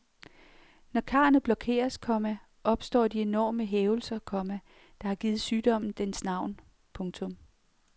Når karrene blokeres, komma opstår de enorme hævelser, komma der har givet sygdommen dens navn. punktum